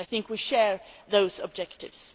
I think we share those objectives.